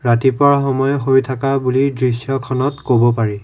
ৰাতিপোৱাৰ সময় হৈ থাকা বুলি দৃশ্য খনত কব পাৰি।